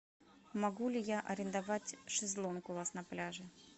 могу ли я арендовать шезлонг у вас на пляже